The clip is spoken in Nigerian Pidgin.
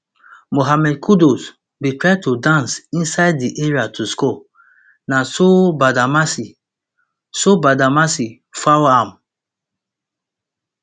mohammed kudus bin try to dance inside di area to score na so badamassi so badamassi foul am